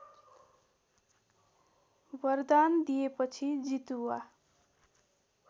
वरदान दिएपछि जितुवा